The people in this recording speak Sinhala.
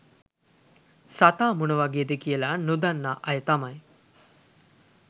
සතා මොනවගේද කියලා නොදන්නා අය තමයි